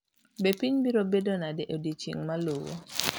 Be piny biro bedo nade e odiechieng’ maluwo?